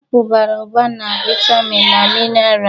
Apụl bara ụba na vitamin na mineral